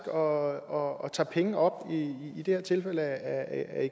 og tager penge op i det her tilfælde af